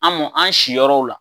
An mɔn an si yɔrɔw la.